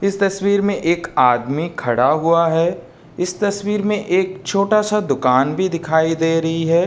इस तस्वीर मे एक आदमी खडा हुआ है। इस तस्वीर मे एक छोटा सा दुकान भी दिखाई दे रही है।